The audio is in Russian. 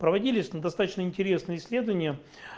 проводились на достаточно интересные исследования